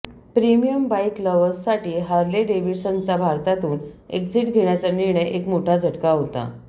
premium bike लव्हर्ससाठी Harley डेव्हिडसनचा भारतातून एक्झिट घेण्याचा निर्णय एक मोठा झटका होता